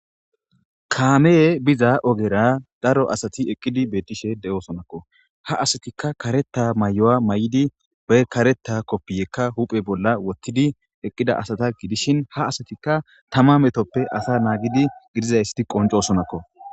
kaame biza ogera daro asati eqqidi beettishe de7oosonakko ha asatikka kareta may7o7a may7di be kareta koppiyekka huphe bolla wottidi eqqida asata gidishin ha asatikka tama metoppe asa naagidi gidizaysti qoncosonakko